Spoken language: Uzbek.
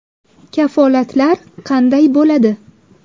Kafolatlar qanday bo‘ladi?